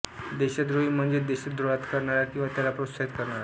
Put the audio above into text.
देशद्रोही म्हणजेच देशद्रोहात करणारा किंवा त्याला प्रोत्साहित करणारा